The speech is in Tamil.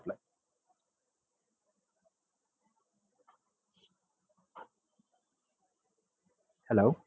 ஹலோ